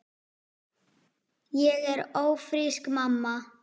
Ég er ófrísk, mamma!